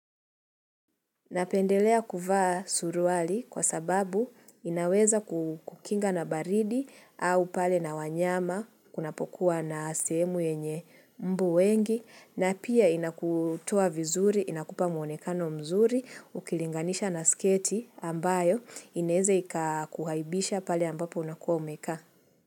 Napendelea kuvaa suruali kwa sababu inaweza kukinga na baridi au pale na wanyama kunapokuwa na sehemu yenye mbu wengi na pia inakutoa vizuri, inakupa muonekano mzuri, ukilinganisha na sketi ambayo inaeza ikakuaibisha pale ambapo unakuwa umekaa.